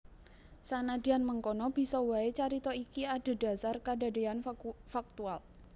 Sanadyan mengkono bisa waé carita iki adhedhasar kadadéyan faktual